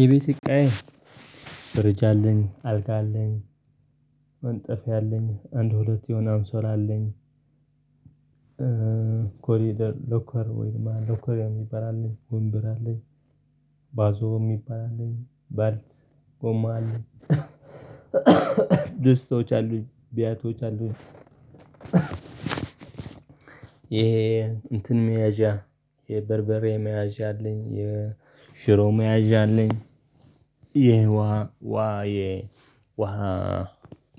የቤት እቃዬ ደረጃ አለኝ አልጋ አለኝ መንጠፌ አለኝ አንድ ሁለት የሆነ አንሶላ አለኝ። ኮሪደር ሎከር ወይም ደግሞ ሎከር የሚባል አለ ወንበር አለኝ። ባዞ የሚባል አለኝ ባል ጎማ አለኝ። ደስተዎች አለኝ ቢያቶች አሉኝ። ይሄ እንትን መያዣ የበርበሬ መያዣ አለኝ የሽሮም መያዣ አለኝ። ይሄ ውሃ ውሃ ይሄ ውሃ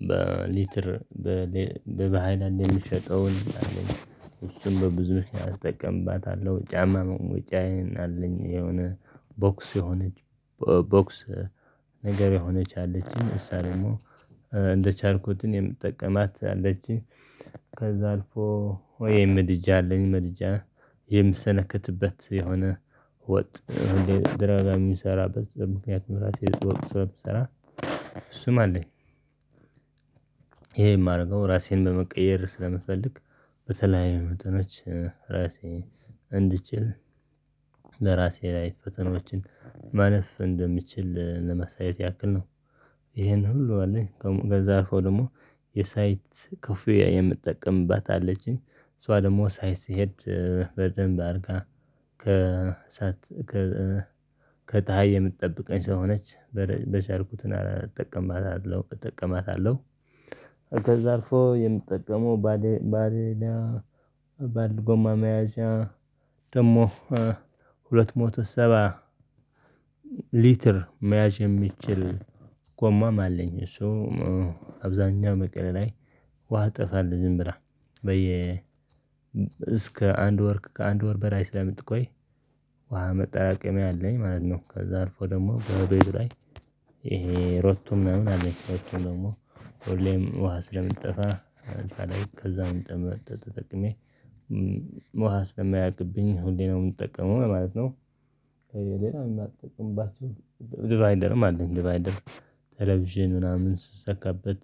በሊትር በሃይላንድ የሚሸጠውን እሱም በብዙዎች አስጠቀምባታለሁ። ጫማ መሞጫዬን አለኝ። የሆነ ቦክስ የሆነች ቦክስ ነገር የሆነች አለችኝ እሳ ደግሞ እንደቻልኩትን የምጠቀማት አለችኝ። ከዛ አልፎ ወይ ምድጃ አለኝ። ምድጃ የምሰነክትበት የሆነ ወጥ ድራማ የሚሰራበት በዚህ ምክንያቱም ራሴ ስለምሰራ ስም አለኝ። ይሄ የማደርገው ራሴን በመቀየር ስለምፈልግ በተለይ መጠኖች ራሴን እንድችል ለራሴ ላይ ፈተናዎችን ማለፍ እንደምችል ለመሳየት ያክል ነው። ይሄን ሁሉ አለኝ ከዛ ሆኖ ደግሞ የሳይት ክፍያ የምጠቀምባት አለችኝ። እሷ ደግሞ ሳይት ስሄድ በደንብ አድርጋ ከሳት ከታህይ የምትጠብቀኝ ሰው ሆነች በቻልኩትና እጠቀማታለሁ እጠቀማታለሁ። ከዛ አልፎ የምትጠቀመው ባሌ ባሌላ ባልጎማ መያዣ ደግሞ ሁለት ሞቶ ሰባ ሊትር መያዥ የሚችል ጎማም አለኝ። ሶ አብዛኛው መቀሌ ላይ ውሃ እጠፋለሁ ዝም ብላ በየ እስከ አንድ ወር ከአንድ ወር በላይ ስለምትቆይ ውሃ መጣራቀሚያ አለኝ ማለት ነው። ከዛ አልፎ ደግሞ በሀቤል ላይ ይሄ ሮቶ ምናምን አለች ሮቶ ደግሞ ሁሌም ውሃ ስለምጠፋ እዛ ላይ ከዛ ተጠቅሜ ውሃ ስለማያልቅብኝ ሁሌ ነው የምጠቀመው ማለት ነው። ሌላ የማጠቀምባቸው ዲቫይንደርም አለኝ። ዲቫይንደር ቴሌቪዥን ምናምን ስሰካበት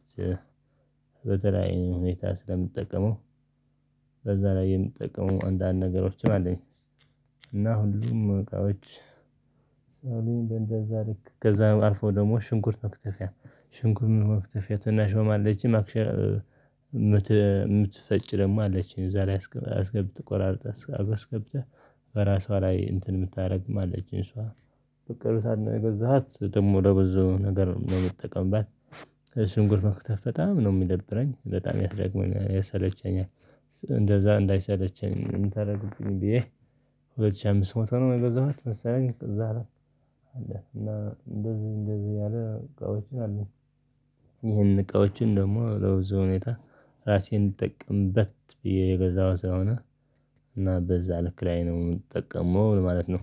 በተለያየ ሁኔታ ስለምጠቀመው በዛ ላይ የምጠቀመው አንዳንድ ነገሮች አለኝ። እና ሁሉም እቃዎች ሳውሊን እንደዛ ልክ ከዛ አልፎ ደግሞ ሽንኩርት መክተፊያ ሽንኩር መክተፊያ ትናሿም አለችኝ። መክተ የምትፈጭ ደግሞ አለችኝ ዛሬ አስገብ ቆራርጠህ አስገብተህ ከራሷ ላይ እንትን የምታደርግም አለችኝ እሷ በቅርብ ሰዓት ነው የገዛኋት ደግሞ ለብዙ ነገር ነው የምጠቀምባት። ሽንኩርት መክተፍ በጣም ነው የሚደብረኝ በጣም ያስደክመኛል ያሰለቸኛል። እንደዛ እንዳይሰለቸኝ የምታደርጉብኝ ብዬ ሁለት ሺህ አምስት መቶ ነው የገዛኋት መሰለኝ እዛ ነው። እና እንደዚህ እንደዚህ ያለ እቃዎችን አሉኝ። ይህን እቃዎችን ደግሞ በብዙ ሁኔታ ራሴን እንድጠቀምበት ብዬ የገዛሁት ስለሆን እና በዛ ልክ ላይ ነው የምጠቀመው ማለት ነው